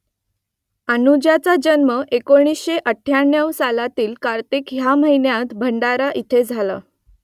अनुजाचा जन्म एकोणीसशे अठ्ठ्याण्णव सालातील कार्तिक ह्या महिन्यात भंडारा इथे झाला